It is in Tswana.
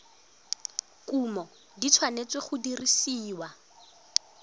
kumo di tshwanetse go dirisiwa